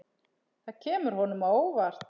Það kemur honum á óvart.